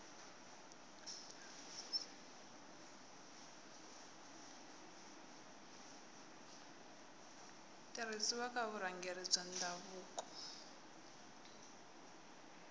tirhisiwa ka vurhangeri bya ndhavuko